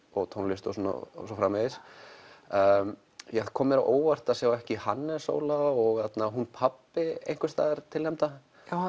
og tónlist og svo framvegis það kom mér á óvart að sjá ekki Hannes Óla og hún pabbi einhvers staðar tilnefndan